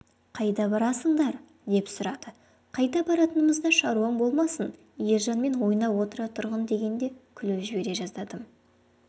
қайда барасыңдар деп сұрады қайда баратынымызда шаруаң болмасын ержанмен ойнап отыра тұрғын дегенде күліп жібере жаздадым